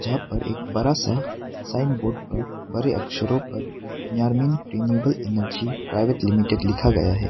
जहां पर एक बड़ा सा साइन बोर्ड पर बड़े अक्षरों पर यारमीन रिन्यूएबल एनर्जी प्राइवेट लिमिटेड लिखा गया है।